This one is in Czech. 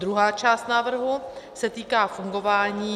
Druhá část návrhu se týká fungování -